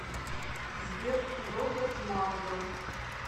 сбер роберт мардо